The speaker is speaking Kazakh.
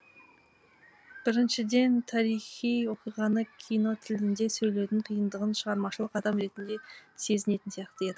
біріншіден тарихи оқиғаны кинотілінде сөйлетудің қиындығын шығармашылық адам ретінде сезінетін сияқты едік